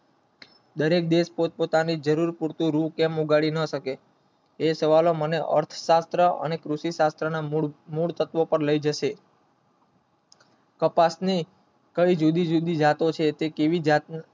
દરેક દેશ પર પોતાની જરૂર પૂરતી રૂ કેમ મન્ગાવી શકે એ સવાલ નો મને અર્થ પાત્ર અને કૃષિ પાત્ર પર મને લાય જાય છે કપાસની જુદી જુદીજાતો છે તે જતો ન